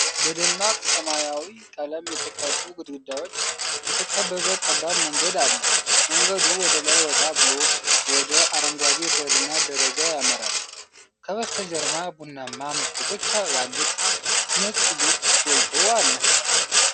በደማቅ ሰማያዊ ቀለም የተቀቡ ግድግዳዎች የተከበበ ጠባብ መንገድ አለ። መንገዱ ወደ ላይ ወጣ ብሎ ወደ አረንጓዴ በርና ደረጃ ያመራል። ከበስተጀርባ ቡናማ መስኮቶች ያሉት ነጭ ቤት ጎልቶ አለ።